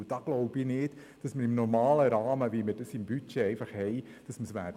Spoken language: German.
Ich glaube nicht, dass wir das im normalen Rahmen, mit dem laufenden Budget, schaffen werden.